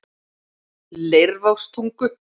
Leirvogstungu